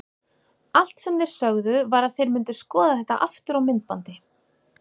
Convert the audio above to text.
Allt sem þeir sögðu var að þeir myndu skoða þetta aftur á myndbandi.